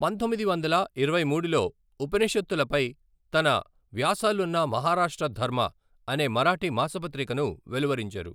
పంతొమ్మిది వందల ఇరవై మూడులో ఉపనిషత్తులపై తన వ్యాసాలున్న మహారాష్ట్ర ధర్మ అనే మరాఠీ మాసపత్రికను వెలువరించారు.